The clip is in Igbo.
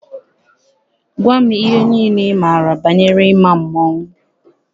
Gwa m ihe niile ị maara banyere ịma mmọnwụ!